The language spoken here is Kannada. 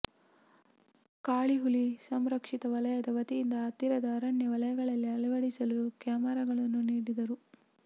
ಕಾಳಿ ಹುಲಿ ಸಂರಕ್ಷಿತ ವಲಯದ ವತಿಯಿಂದ ಹತ್ತಿರದ ಅರಣ್ಯ ವಲಯಗಳಲ್ಲಿ ಅಳವಡಿಸಲು ಕ್ಯಾಮೆರಾಗಳನ್ನು ನೀಡಿದ್ದರು